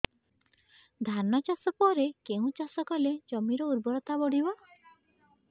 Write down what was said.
ଧାନ ଚାଷ ପରେ କେଉଁ ଚାଷ କଲେ ଜମିର ଉର୍ବରତା ବଢିବ